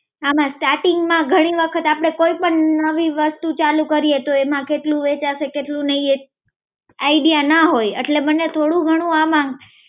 આમાં starting માં ઘણી વખત આપણે કોઈ પણ નવી વસ્તુ ચાલુ કરીએ, તો એમાં કેટલું વેચા છે કેટલું નઈ એ idea ના હોય એટલે મને થોડું ઘણું આમાં